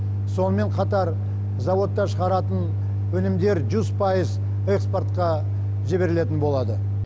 сонымен қатар зауытта шығаратын өнімдер жүз пайыз экспортқа жіберілетін болады